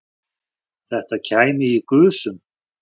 Þetta kæmi í gusum